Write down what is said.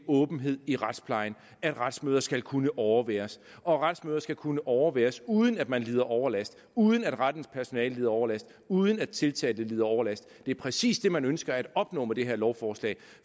åbenhed i retsplejen at retsmøder skal kunne overværes og at retsmødet skal kunne overværes uden at man lider overlast uden at rettens personale lider overlast uden at tiltalte lider overlast er præcis det man ønsker at opnå med det her lovforslag